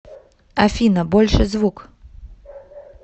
афина больше звук